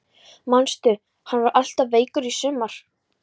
Manstu hann var alltaf veikur í sumar?